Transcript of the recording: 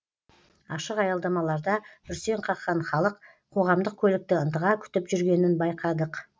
ашық аялдамаларда бүрсең қаққан халық қоғамдық көлікті ынтыға күтіп жүргенін байқадық